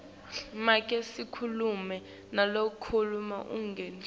make sikhulumi nalokangusihlalo